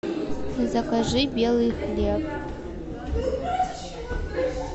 закажи белый хлеб